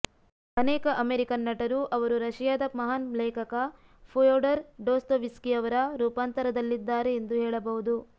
ಅನೇಕ ಅಮೇರಿಕನ್ ನಟರು ಅವರು ರಶಿಯಾದ ಮಹಾನ್ ಲೇಖಕ ಫ್ಯೋಡರ್ ಡೊಸ್ತೋವ್ಸ್ಕಿ ಅವರ ರೂಪಾಂತರದಲ್ಲಿದ್ದಾರೆ ಎಂದು ಹೇಳಬಹುದು